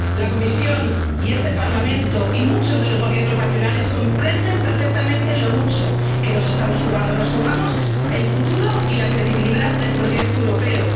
La Comisión y este Parlamento y muchos de los Gobiernos nacionales comprenden perfectamente lo mucho que nos estamos jugando. Nos jugamos el futuro y la credibilidad del proyecto europeo.